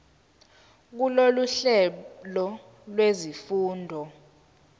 kulolu hlelo lwezifundo